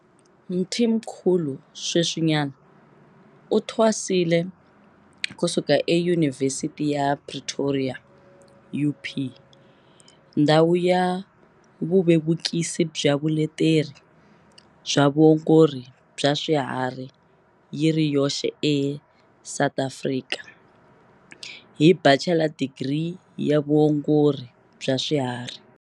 Mthimkhulu sweswinyana u thwasile ku suka eYuni vhesithi ya Pretoria, UP, ndhawu ya vuvevukisi bya vuleteri bya vuongori bya swiharhi yi ri yoxe eSA, hi Bachela Digiri ya Vuongori bya Swiharhi.